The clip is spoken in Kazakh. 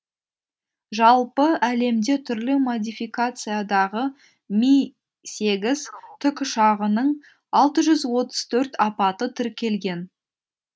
жалпы әлемде түрлі модификациядағы ми сегіз тікұшағының алты жүз отыз төрт апаты тіркелген